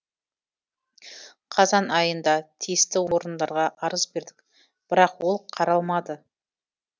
қазан айында тиісті орындарға арыз бердік бірақ ол қаралмады